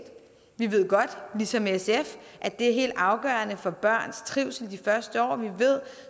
vi ved godt ligesom sf at det er helt afgørende for børns trivsel de første år vi ved